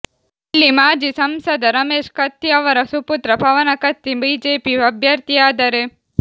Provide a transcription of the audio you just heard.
ಇಲ್ಲಿ ಮಾಜಿ ಸಂಸದ ರಮೇಶ ಕತ್ತಿ ಅವರ ಸುಪುತ್ರ ಪವನ ಕತ್ತಿ ಬಿಜೆಪಿ ಅಭ್ಯರ್ಥಿಯಾದರೆ